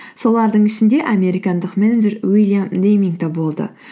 солардың ішінде американдық менеджер уильям дейминг те болды